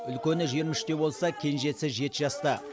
үлкені жиырма үште болса кенжесі жеті жаста